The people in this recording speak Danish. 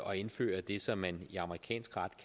og indfører det som man i amerikansk ret